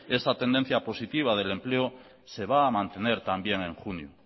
esa tendencia positiva del empleo se va a mantener también en junio